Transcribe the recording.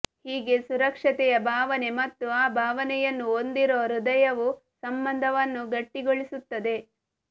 ಹೀಗೆ ಸುರಕ್ಷತೆಯ ಭಾವನೆ ಮತ್ತು ಆ ಭಾವನೆಯನ್ನು ಹೊಂದಿರುವ ಹೃದಯವು ಸಂಬಂಧವನ್ನು ಗಟ್ಟಿಗೊಳಿಸುತ್ತದೆ